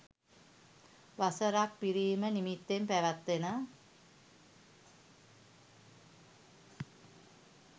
වසර ක් පිරීම නිමිත්තෙන් පැවැත්වෙන